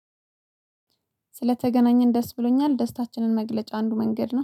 ስለተገናኘን ደስ ብሎኛል ደስታችንን መግለጫ አንዱ መንገድ ነው